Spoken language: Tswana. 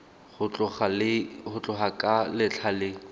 go tloga ka letlha le